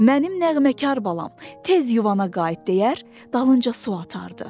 Mənim nəğməkar balam, tez yuvana qayıt deyər, dalınca su atardı.